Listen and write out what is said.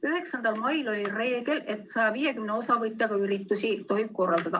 9. mail oli reegel, et 150 osavõtjaga üritusi tohib korraldada.